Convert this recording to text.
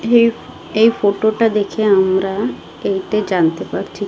এই ফটো -টা দেখে আমরা এইটা জানতে পারছি।